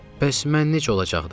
Bəs mən necə olacaqdım?